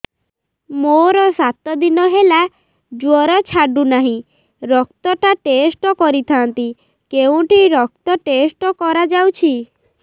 ମୋରୋ ସାତ ଦିନ ହେଲା ଜ୍ଵର ଛାଡୁନାହିଁ ରକ୍ତ ଟା ଟେଷ୍ଟ କରିଥାନ୍ତି କେଉଁଠି ରକ୍ତ ଟେଷ୍ଟ କରା ଯାଉଛି